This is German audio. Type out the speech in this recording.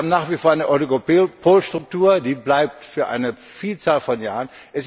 Wir haben nach wie vor eine Oligopolstruktur, die bleibt für eine Vielzahl von Jahren.